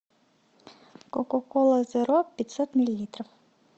кока кола зеро пятьсот миллилитров